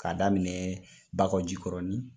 K'a daminɛ Bakojikɔrɔnin,